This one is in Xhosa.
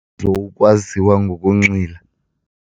ukwaziwa ngokunxila.